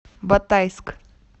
батайск